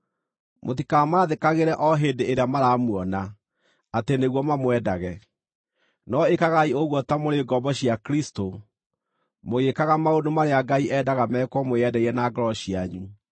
Mũtikamaathĩkagĩre o hĩndĩ ĩrĩa maramuona atĩ nĩguo mamwendage; no ĩkagai ũguo ta mũrĩ ngombo cia Kristũ, mũgĩĩkaga maũndũ marĩa Ngai endaga mekwo mwĩendeire na ngoro cianyu.